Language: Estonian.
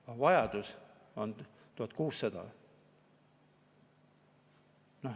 Aga vajadus on 1600.